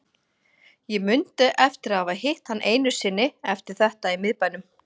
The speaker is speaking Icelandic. Ég mundi eftir að hafa hitt hann einu sinni eftir þetta í miðbænum.